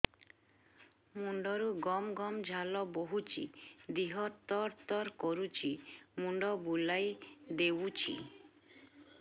ମୁଣ୍ଡରୁ ଗମ ଗମ ଝାଳ ବହୁଛି ଦିହ ତର ତର କରୁଛି ମୁଣ୍ଡ ବୁଲାଇ ଦେଉଛି